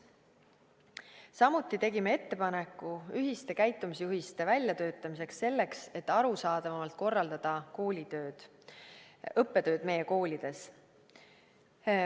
Samuti tegime ettepaneku ühiste käitumisjuhiste väljatöötamiseks, selleks et arusaadavamalt korraldada õppetööd meie koolides.